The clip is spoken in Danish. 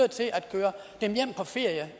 køre dem hjem på ferie